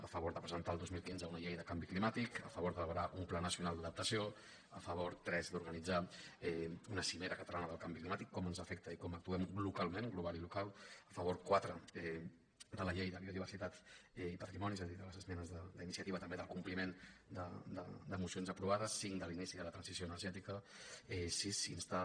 a favor de presentar el dos mil quinze una llei de canvi climàtic a favor d’elaborar un pla nacional d’adaptació a favor tres d’organitzar una cimera catalana del canvi climàtic com ens afecta i com actualment glocalment global i local a favor quatre de la llei de biodiversitat i patrimoni és a dir de les esmenes d’iniciativa també del compliment de mocions aprovades cinc de l’inici de la transició energètica sis instar